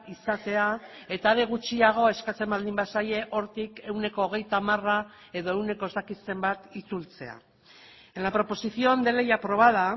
izatea eta are gutxiago eskatzen baldin bazaie hortik ehuneko hogeita hamara edo ehuneko ez dakit zenbat itzultzea en la proposición de ley aprobada